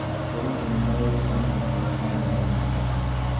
Borithi nĩmarerĩkana gũkorwo marĩ aungumania